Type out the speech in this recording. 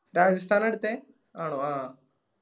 രാജസ്ഥാന എടുത്തേ ആണോ ആ